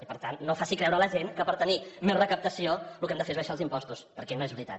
i per tant no faci creure a la gent que per tenir més recaptació el que hem de fer és abaixar els impostos perquè no és veritat